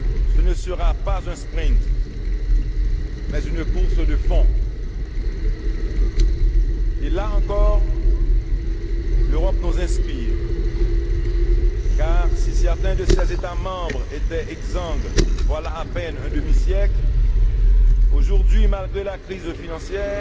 Ce ne sera pas un sprint, mais une course de fond. Et là encore, l'Europe nous inspire, car si certains de ses États membres étaient exsangues voilà à peine un demi siècle, aujourd'hui, malgré la crise financière,